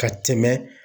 Ka tɛmɛ